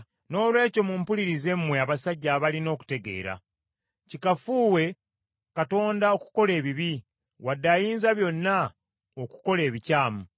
Noolwekyo mumpulirize mmwe abasajja abalina okutegeera. Kikafuuwe Katonda okukola ebibi, wadde Ayinzabyonna okukola ebikyamu.